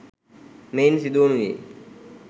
මෙයින් සිදුවනුයේ